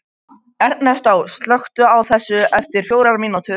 Ernestó, slökktu á þessu eftir fjórar mínútur.